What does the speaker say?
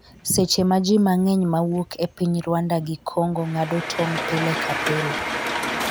seche ma ji mang'eny mawuok e piny Rwanda gi congo ng'ado tong' pile ka pile